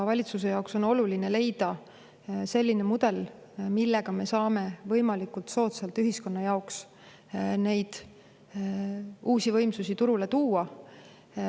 Valitsuse jaoks on oluline leida selline mudel, millega me saame ühiskonna jaoks võimalikult soodsalt neid uusi võimsusi turule tuua.